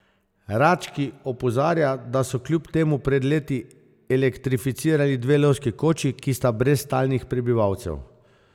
Rački opozarja, da so kljub temu pred leti elektrificirali dve lovski koči, ki sta brez stalnih prebivalcev.